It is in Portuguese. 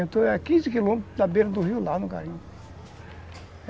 quinze quilômetros da beira do rio lá no garimpo.